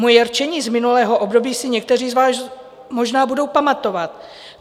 Moje rčení z minulého období si někteří z vás možná budou pamatovat.